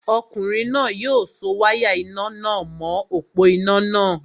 Ọkùnrin náà yóò so wáyà iná nà mọ̀ọ́ òpó-iná náà